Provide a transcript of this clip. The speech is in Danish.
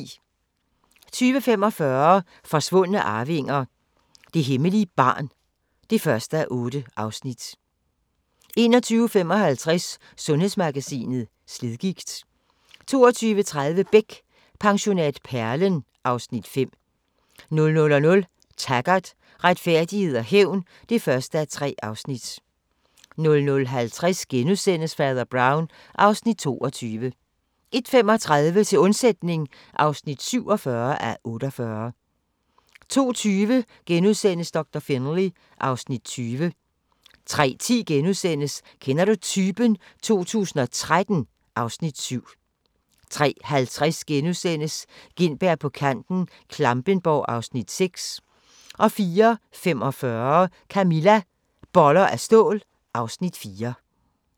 20:45: Forsvundne arvinger: Det hemmelige barn (1:8) 21:55: Sundhedsmagasinet: Slidgigt 22:30: Beck: Pensionat Perlen (Afs. 5) 00:00: Taggart: Retfærdighed og hævn (1:3) 00:50: Fader Brown (Afs. 22)* 01:35: Til undsætning (47:48) 02:20: Doktor Finlay (Afs. 20)* 03:10: Kender du typen? 2013 (Afs. 7)* 03:50: Gintberg på kanten - Klampenborg (Afs. 6)* 04:45: Camilla – Boller af stål (Afs. 4)